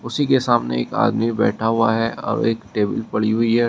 उसी के सामने एक आदमी बैठा हुआ है और एक टेबल पड़ी हुई है।